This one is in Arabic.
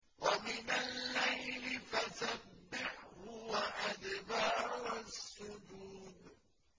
وَمِنَ اللَّيْلِ فَسَبِّحْهُ وَأَدْبَارَ السُّجُودِ